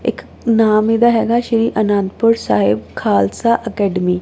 ਇੱਕ ਨਾਮ ਇਹਦਾ ਹੈਗਾ ਸ਼੍ਰੀ ਅਨੰਦਪੁਰ ਸਾਹਿਬ ਖਾਲਸਾ ਅਕੈਡਮੀ --